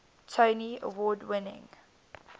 tony award winning